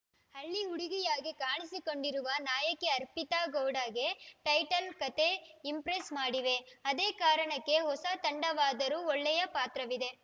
ಹಳ್ಳಿ ಹುಡುಗಿಯಾಗಿ ಕಾಣಿಸಿಕೊಂಡಿರುವ ನಾಯಕಿ ಅರ್ಪಿತಾ ಗೌಡಗೆ ಟೈಟಲ್‌ ಕತೆ ಇಂಪ್ರೆಸ್‌ ಮಾಡಿವೆ ಅದೇ ಕಾರಣಕ್ಕೆ ಹೊಸ ತಂಡವಾದರೂ ಒಳ್ಳೆಯ ಪಾತ್ರವಿದೆ